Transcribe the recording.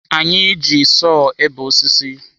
Anyị na-eji sọọ ebe osisi.